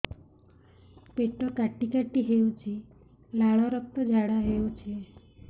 ପେଟ କାଟି କାଟି ହେଉଛି ଲାଳ ରକ୍ତ ଝାଡା ହେଉଛି